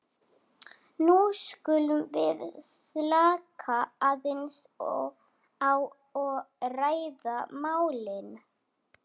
nú skulum við slaka aðeins á og ræða málin.